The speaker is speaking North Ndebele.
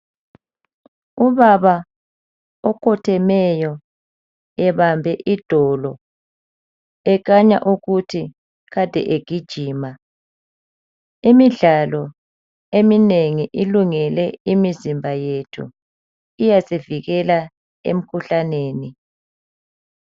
Ubaba okhothemeyo ebambe idolo ekhanya ukuthi kade egijima, imidlalo eminengi ilungele imizimba yethu iyasivikela emkhuhlaneni.